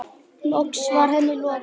Loks var henni lokið.